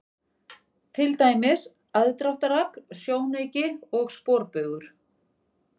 Til dæmis: aðdráttarafl, sjónauki og sporbaugur.